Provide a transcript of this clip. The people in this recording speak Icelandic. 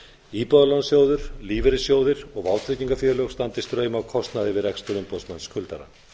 íbúðalánasjóður lífeyrissjóðir og vátryggingafélög standi straum af kostnaði við rekstur umboðsmanns skuldara